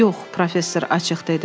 Yox, professor açıq dedi.